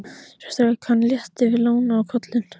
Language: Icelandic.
Svo strauk hann létt yfir lóna á kollinum.